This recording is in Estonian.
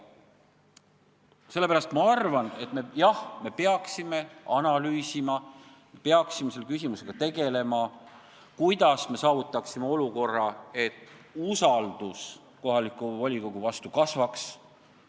Sellepärast ma arvan, et jah, me peaksime analüüsima ja me peaksime tegelema selle küsimusega, kuidas saavutada olukorda, et usaldus kohaliku volikogu vastu kasvaks.